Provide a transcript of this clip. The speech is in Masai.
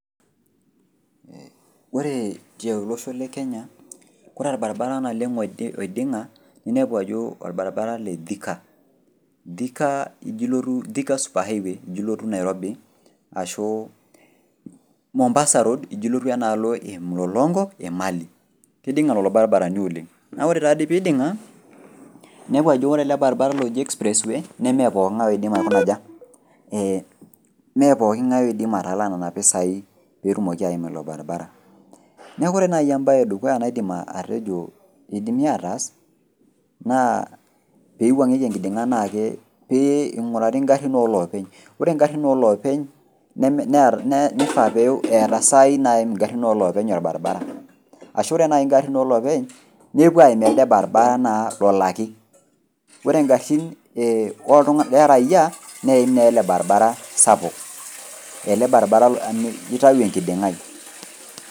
Ore tiolosho le kenya kore olbarabara naleng' oiding'a ninepu ajo  olbarabara le Thika, Thikaa ijo ilotu Thika super highway ijo ilotu Nairobi ashuu Mombasa road ijo ilotu enaalo e Mlolongo emali. Keiding'a lolo [baribarani oleng' naa ore taadi peiding'a ninepu ajo ore ele baribara oji express way nemeepooking'ai oidim aikuna aja, eeh mee pooking'ai oidim atalaa nena pesai peetumoki aima ilo  baribara. Neaku kore nai embaye edukuya naidim atejo peidimi ataas naa peeiwuang'eki enkiding'a naaake pee eing'urari ingarrin oolopeny. Ore  ngarrin oloopeny neme, nearr neifaa pee eata saai naaim ingarrin oloopeny  olbaribara, ashu ore nai ingarrin oloopeny nepuo aim elde baribara naa lolaki , ore ngarrin oltung'ana ee le raia neeim neele  barabara sapuk, ele barabara oitayu enkiding'ai.